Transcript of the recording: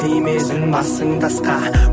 тимесін басың тасқа